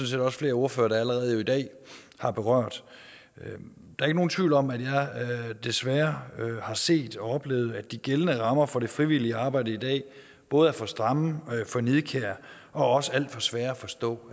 set også flere ordførere der jo allerede i dag har berørt der er ikke nogen tvivl om at jeg desværre har set og oplevet at de gældende rammer for det frivillige arbejde i dag både er for stramme for nidkære og også alt for svære at forstå